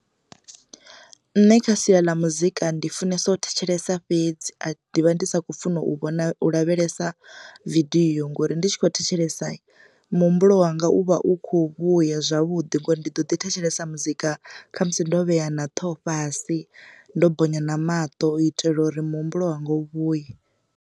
Nṋe kha sia ḽa muzika ndi funesa u thetshelesa fhedzi ndivha ndi sa khou funa u vhona lavhelesa vidio ngori ndi tshi kho thetshelesa, muhumbulo wanga u vha u kho vhuya zwavhuḓi ngori ndi ḓo ḓi thetshelesa muzika kha musi ndo vhea na ṱhoho fhasi ndo bonya na maṱo u itela uri muhumbulo wanga u vhuye.